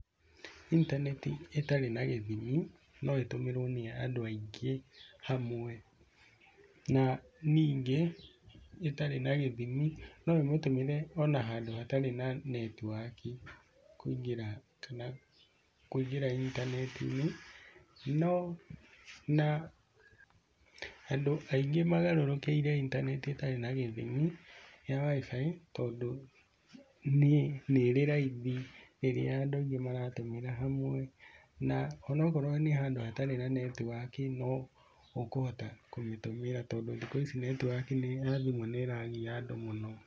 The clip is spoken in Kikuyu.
Intaneti ĩtarĩ na gĩthimi no ĩtũmĩrwo nĩ andũ aingĩ hamwe. Na ningĩ ĩtarĩ na gĩthimi no ũmĩtũmĩre ona handũ hatarĩ na netiwaki kũingĩra intaneti-inĩ. No na andũ aingĩ magarũrũrkĩire intaneti ĩtari na gĩthimi ya WIFI tondũ nĩ ĩrĩ raithi rĩrĩa andũ aingĩ maratũmĩra hamwe. Na ona akorwo nĩ handũ hatarĩ na netiwaki no ũkũhota kũmĩtũmĩra tondũ thikũ ici netiwaki ya thimũ nĩ ĩragia andũ mũno.